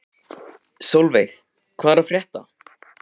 Solveig, hvað er að frétta?